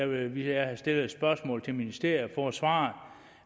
vi vi har stillet et spørgsmål til ministeriet og svar